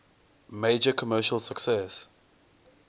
major commercial success